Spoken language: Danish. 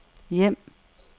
hjem